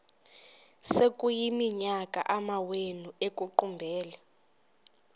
sekuyiminyaka amawenu ekuqumbele